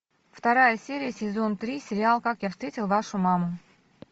вторая серия сезон три сериал как я встретил вашу маму